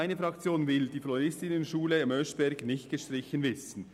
Meine Fraktion will die Floristinnenklasse in Oeschberg nicht gestrichen wissen.